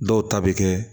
Dɔw ta bɛ kɛ